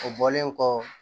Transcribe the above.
O bɔlen kɔ